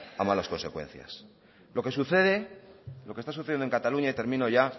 a malas consecuencias lo que sucede lo que está sucediendo en cataluña y termino ya